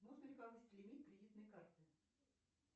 можно ли повысить лимит кредитной карты